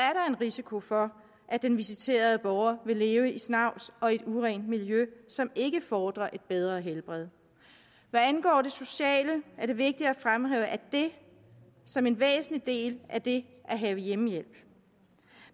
risiko for at den visiterede borger vil leve i snavs og i et urent miljø som ikke befordrer et bedre helbred hvad angår det sociale er det vigtigt at fremhæve det som en væsentlig del af det at have hjemmehjælp